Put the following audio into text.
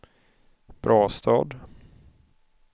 Brastad